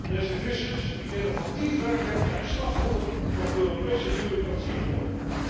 Deze vissers die innovatief werken, zijn slachtoffer van Europese bureaucratie geworden.